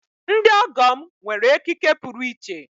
Ndị ọgọ m nwere ekike puru iche.